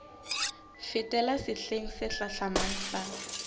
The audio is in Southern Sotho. fetela sehleng se hlahlamang sa